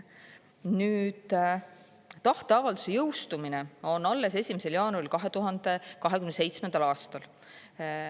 Nüüd, tahteavalduse jõustumine on alles 1. jaanuaril 2027. aastal.